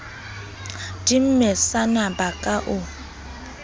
di mesana ba ka o